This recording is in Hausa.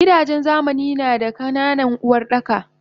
Gidajen zamani nada ka nanan Uwardaka